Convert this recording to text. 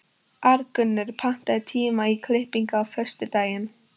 Arngunnur, pantaðu tíma í klippingu á föstudaginn.